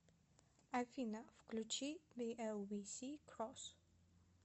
афина включи биэлвисикросс